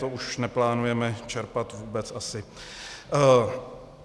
To už neplánujeme čerpat vůbec asi.